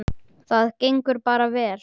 Það gengur bara vel.